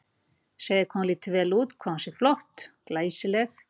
Segja hvað hún líti vel út, hvað hún sé flott, glæsileg